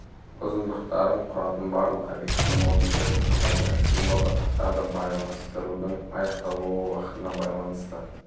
ұзындықтарын құратын барлық обьектілі модульдерді санайды символдық аттарды байланыстырудың аяқталуы уақытына байланысты